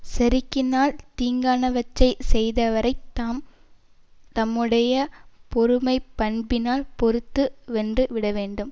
செருக்கினால் தீங்கானவற்றைச் செய்தவரை தாம் தம்முடைய பொறுமைப் பண்பினால் பொறுத்து வென்று விட வேண்டும்